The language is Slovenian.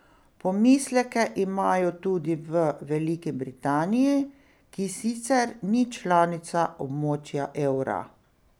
Pomisleke imajo tudi v Veliki Britaniji, ki sicer ni članica območja evra.